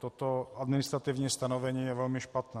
Toto administrativní stanovení je velmi špatné.